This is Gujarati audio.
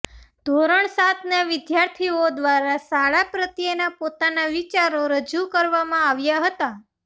ધોરણ સાતના વિદ્યાર્થીઓ દ્વારા શાળા પ્રત્યેના પોતાના વિચારો રજુ કરવામાં આવ્યા હતા